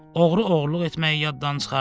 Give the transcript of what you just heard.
Oğru oğurluq etməyi yadından çıxartdı.